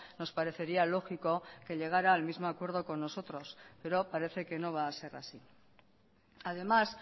nos parecería lógico que llegara al mismo acuerdo con nosotros pero parece que no va a ser así además